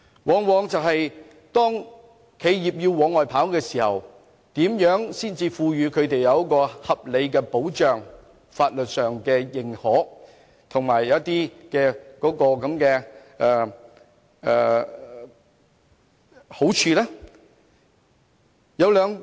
當這些企業往外跑時，他們如何可以獲得在法律上合理的、認可的並對他們有好處的保障呢？